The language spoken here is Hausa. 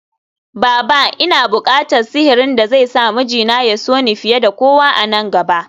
Baba! Ina bukatan sihirin da zai sa mijina ya so ni fiye da kowa a nan gaba